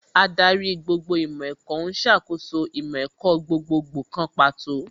Ádárì gbogbo ìmọ̀ ẹ̀kọ́ ní ó ń ṣàkóso ìmọ̀ ẹ̀kọ́ gbogbogbò kan pàtó